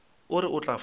o re o tla fola